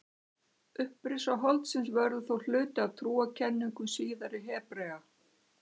Upprisa holdsins verður þó hluti af trúarkenningum síðari Hebrea.